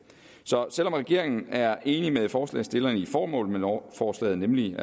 så selv om regeringen er enig med forslagsstillerne i formålet med lovforslaget nemlig